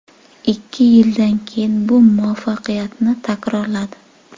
Ikki yildan keyin bu muvaffaqiyatini takrorladi.